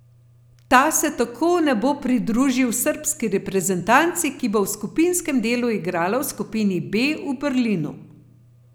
Ta se tako ne bo pridružil srbski reprezentanci, ki bo v skupinskem delu igrala v skupini B v Berlinu.